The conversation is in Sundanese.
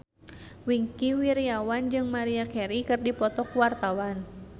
Wingky Wiryawan jeung Maria Carey keur dipoto ku wartawan